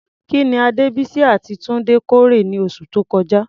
Kí ni Adebisi àti Tunde kórè ní oṣù tó kọjá?